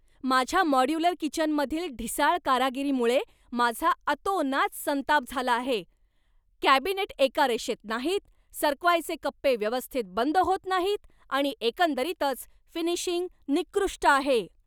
माझ्या मॉड्युलर किचनमधील ढिसाळ कारागिरीमुळे माझा अतोनात संताप झाला आहे. कॅबिनेट एका रेषेत नाहीत, सरकवायचे कप्पे व्यवस्थित बंद होत नाहीत आणि एकंदरीतच फिनिशिंग निकृष्ट आहे.